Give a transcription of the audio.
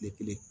Tile kelen